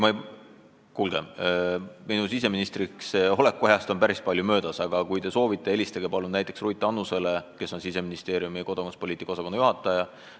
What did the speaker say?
Kuulge, minu siseministriks oleku ajast on päris palju möödas, aga kui soovite, siis helistage palun näiteks Ruth Annusele, kes on Siseministeeriumi kodakondsuspoliitika osakonna juhataja.